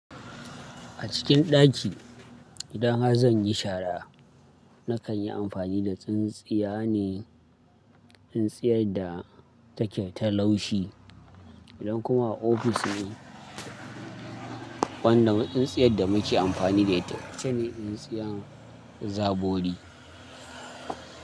A cikin ɗaki idan har zan yi shara nakan yi amfani da tsintsiya ne, tsintsiyar da take ta laushi. Idan kuma a ofis ne, wannan tsintsiyar da muke amfani da ita ita ne tsintsiyar zabori.